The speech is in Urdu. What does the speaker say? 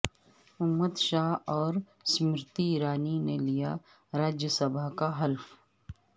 امت شاہ اور سیمرتی ایرانی نے لیا راجیہ سبھا کا حلف